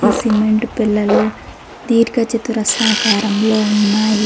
ఈ సిమెంట్ పెల్లలు దీర్ఘ చతురస్రాకారంలో ఉన్నాయి.